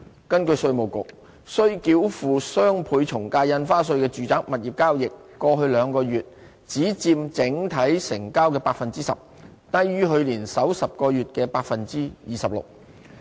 根據稅務局，須繳付雙倍從價印花稅的住宅物業交易，過去兩個月只佔整體成交的 10%， 低於去年首10個月的 26%。